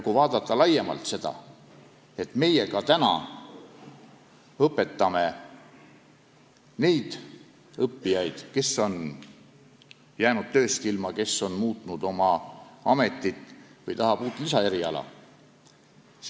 Kui vaadata laiemalt, siis me õpetame ka neid õppijaid, kes on jäänud tööst ilma, kes on ametit vahetanud või tahavad lisaeriala.